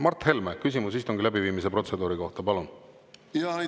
Mart Helme, küsimus istungi läbiviimise protseduuri kohta, palun!